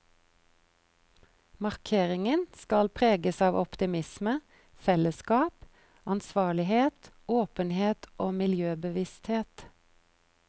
Markeringen skal preges av optimisme, fellesskap, ansvarlighet, åpenhet og miljøbevissthet.